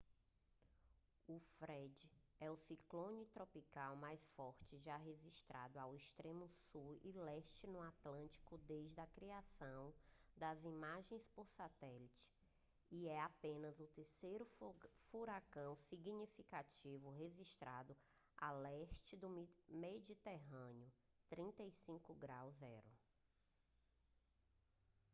o fred é o ciclone tropical mais forte já registrado ao extremo sul e leste no atlântico desde a criação das imagens por satélite e é apenas o terceiro furacão significativo registrado a leste do meridiano 35° o